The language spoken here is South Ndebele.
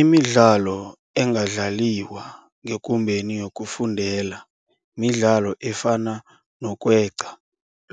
Imidlalo engadlaliwa ngekumbeni yokufundela midlalo efana nokweqa